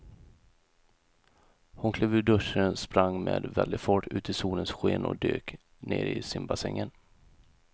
Hon klev ur duschen, sprang med väldig fart ut i solens sken och dök ner i simbassängen.